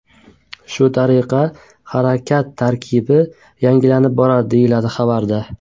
Shu tariqa harakat tarkibi yangilanib boradi”, deyiladi xabarda.